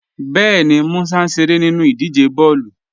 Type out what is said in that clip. Bẹẹni, Músà n ṣeré nínu idíje bọọlu.